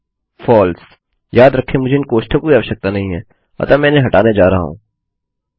फलसे याद रखें मुझे इन कोष्टकों की आवश्यकता नहीं है अतः मैं इन्हें हटाने जा रहा हूँ